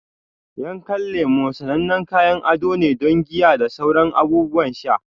Yankan lemu sanannen kayan ado ne don giya da sauran abubuwan sha.